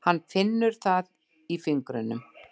Hann finnur það í fingrinum.